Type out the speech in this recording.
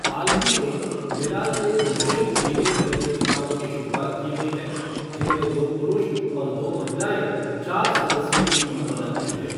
हाल ही में, मिलान में मिश्रित रिले प्रतियोगिताओं की शुरुआत की गई है, जिनमे दो पुरुष और दो महिलाएँ चार सदस्यीय टीम बनाती हैं।